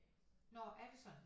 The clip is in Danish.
Nå er det sådan